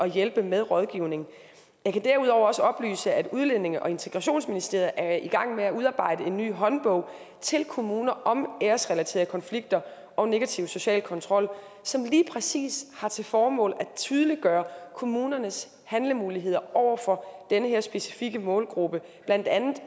hjælpe med rådgivning jeg kan derudover også oplyse at udlændinge og integrationsministeriet er i gang med at udarbejde en ny håndbog til kommuner om æresrelaterede konflikter og negativ social kontrol som lige præcis har til formål at tydeliggøre kommunernes handlemuligheder over for den her specifikke målgruppe blandt andet